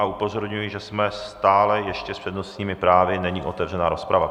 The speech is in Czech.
A upozorňuji, že jsme stále ještě s přednostními právy, není otevřena rozprava.